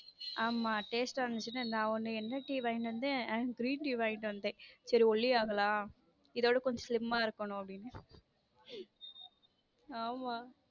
ஆமா taste ஆ இருந்துச்சுன்னு நான் ஒன்னு என்ன டீ வாங்கிட்டு வந்தேன் green டீ வாங்கிட்டு வந்தேன் சரி ஒல்லி ஆகலாம் இதைவிட கொஞ்சம் slim இருக்கணும் அப்படின்னு ஆமா.